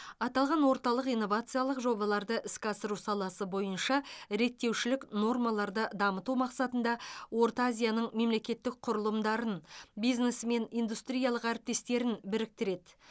аталған орталық инновациялық жобаларды іске асыру саласы бойынша реттеушілік нормаларды дамыту мақсатында орталық азияның мемлекеттік құрылымдарын бизнесі мен индустриялық әріптестерін біріктіреді